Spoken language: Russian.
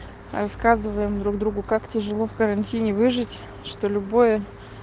рассказываем друг другу как тяжело в карантине выжить что любое